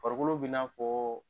Farikolo bɛ n'a fɔ